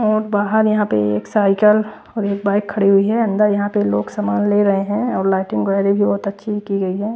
और बाहर यहां पे एक साइकल और बाइक खड़ी हुई है अंदर यहां पे लोग सामान ले रहे हैं और लाइटिंग वगैरह भी बहुत अच्छी की गई है।